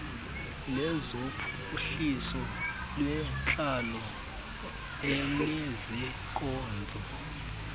lezophuhliso lwentlalo elezeenkonzo